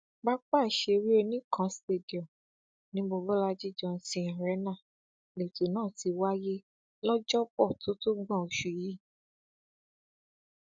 pápá ìṣeré oníkan stadium ni mobólájí johnson arena leto náà ti wáyé lọ́jọ́bọ̀ tótógbòn oṣù yìí